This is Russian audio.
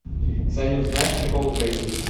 салют знаешь приколы про еду